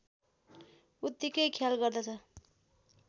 उत्तिकै ख्याल गर्छन्